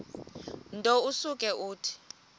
nto usuke uthi